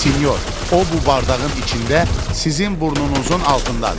Sinyor, o bu bardağın içində sizin burnunuzun altındadır.